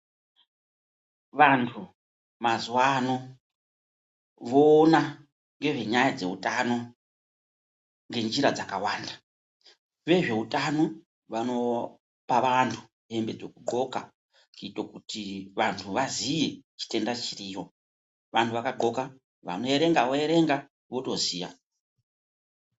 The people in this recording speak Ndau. Vantu mazuva ano voona ngezvenyaya dzeutano ngenjira dzakawanda. Vezveutano vanopa vantu hembe dzekudhloka kuite kuti vantu vaziye chitenda chiriyo. Vantu vakadhloka vanoerenga voerenga votoziya.